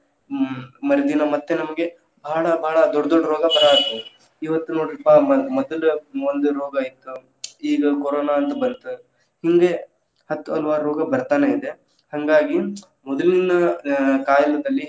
ಹ್ಮ್ ಮರದಿನಾ ಮತ್ತೆ ನಮ್ಗೆ ಭಾಳ ಭಾಳ ದೊಡ್ಡ ದೊಡ್ಡ ರೋಗಾ ಬರಾತ್ವು ಇವತ್ತ ನೋಡ್ರಿಪ್ಪಾ ಮ~ ಮದಲ್‌ ಒಂದ ರೋಗಾ ಇತ್, ಈಗ ಕೊರೊನಾ ಅಂತ ಬಂತು ಹಿಂಗೆ ಹತ್ತು ಹಲವಾರು ರೋಗ ಬರ್ತಾನೆ ಇದೆ. ಹಂಗಾಗಿ ಮದಲಿನ ಅ ಕಾಲದಲ್ಲಿ.